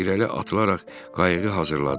O irəli atılaraq qayığı hazırladı.